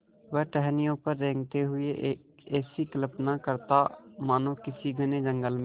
वह टहनियों पर रेंगते हुए ऐसी कल्पना करता मानो किसी घने जंगल में